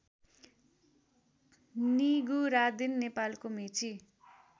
निगुरादिन नेपालको मेची